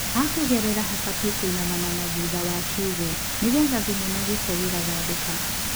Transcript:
Hakũgerera habatie kwĩignama na thutha wa kiũgũ nĩgetha thumu na gĩko gĩgathambĩka.